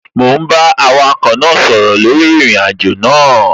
Mò ún bá awakọ̀ náà sọ̀rọ̀ lórí ìrìnàjò náà